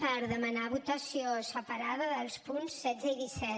per demanar votació separada dels punts setze i disset